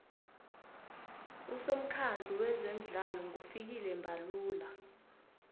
usomukhandlu weze midlalo ngufikile mbalula